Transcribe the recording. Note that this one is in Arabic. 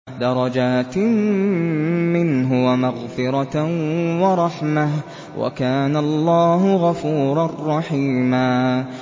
دَرَجَاتٍ مِّنْهُ وَمَغْفِرَةً وَرَحْمَةً ۚ وَكَانَ اللَّهُ غَفُورًا رَّحِيمًا